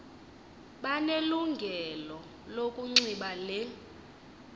banelungelo lokunxiba le